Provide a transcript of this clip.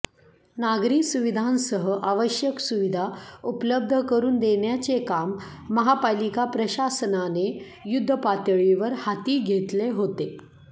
नागरी सुविधांसह आवश्यक सुविधा उपलब्ध करून देण्याचे काम महापालिका प्रशासनाने युद्धपातळीवर हाती घेतले होते